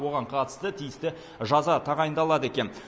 оған қатысты тиісті жаза тағайындалады екен